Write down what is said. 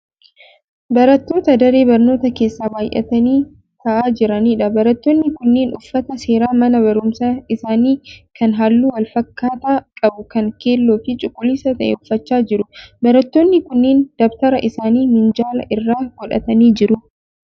Barattoota daree barnootaa keessa baayyatanii ta'aa jiraniidha. Barattoonni kunneen uffata seeraa mana barumsaa isaanii kan halluu wal fakkaataa qabu kan keelloo fi cuquliisa ta'e uffachaa jiru. Barattoonni kunneen dabtara isaanii minjaala irra godhatanii jiru.